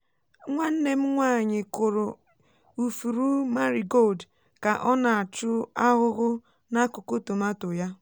nwanne m nwaanyị kụrụ ifuru marigold ka ọ na-achụ ahụhụ n'akụkụ tomato ya.